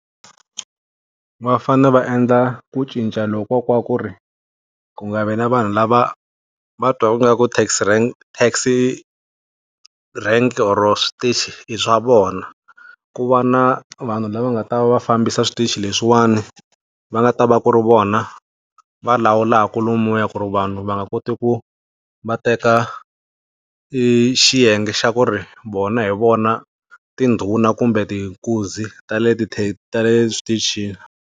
Va fanele va endla ku cinca lokuya ka ku ri, ku nga vi na vanhu lava va twaku ngaku taxi rank oro switichi i swa vona. Ku va na vanhu lava nga ta va va fambisa switichi leswiwani. Va nga ta va ku ri vona, va lawulaku lomuya ku ri vanhu va nga koti ku va teka i xiyenge xa ku ri vona hi vona tindhuna kumbe nkunzi ta le ti ta le switichini.